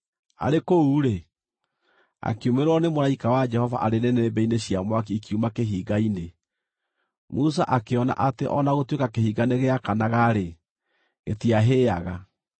Arĩ kũu-rĩ, akiumĩrĩrwo nĩ mũraika wa Jehova arĩ nĩnĩmbĩ-inĩ cia mwaki ikiuma kĩhinga-inĩ. Musa akĩona atĩ o na gũtuĩka kĩhinga nĩgĩakanaga-rĩ, gĩtiahĩaga.